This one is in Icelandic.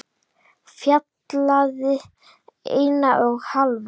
Fjallið eina og hálfa.